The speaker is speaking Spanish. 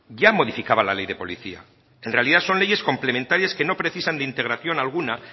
ya modificaba la ley de policía en realidad son leyes complementarias que no precisan de integración alguna